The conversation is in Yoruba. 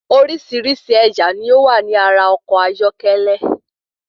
Oríṣìíríṣìí ẹ̀yà ló wà ní ara ọkọ̀ ayọ́kẹ́lẹ́.